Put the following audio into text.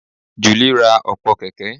Julie ra ọ̀pọ̀ kẹ̀kẹ́